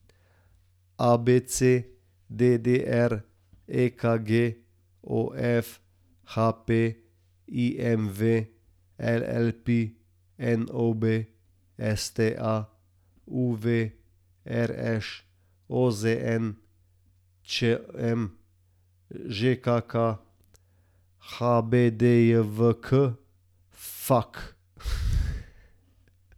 ABC, DDR, EKG, OF, HP, IMV, LPP, NOB, STA, UV, RŠ, OZN, ČM, ŽKK, HBDJKV, FAQ.